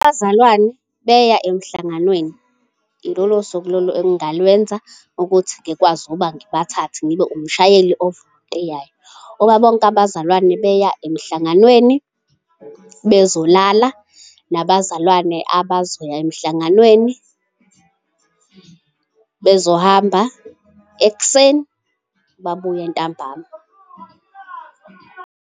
Abazalwane beya emhlanganweni, yilolo suku lolo engingalwenza ukuthi ngikwazi ukuba ngibathathe ngibe umshayeli ovolontiyayo. Uma bonke abazalwane beya emhlanganweni bezolala, nabazalwane abazoya emhlanganweni bezohamba ekuseni, babuye ntambama.